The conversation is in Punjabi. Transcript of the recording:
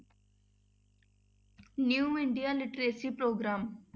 New India literacy programme.